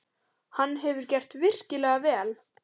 Hann hefur gert virkilega vel.